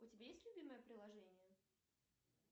у тебя есть любимое приложение